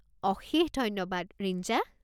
অশেষ ধন্যবাদ, ৰিঞ্জা।